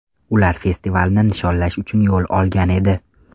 Ular festivalni nishonlash uchun yo‘l olgan edi.